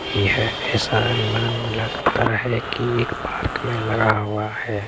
येह एहसानमंद लगता है की एक पार्क में लगा हुआ है।